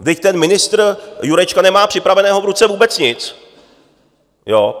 Vždyť ten ministr Jurečka nemá připraveného v ruce vůbec nic.